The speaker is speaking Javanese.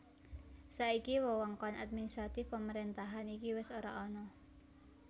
Saiki wewengkon administratif pemerentahan iki wis ora ana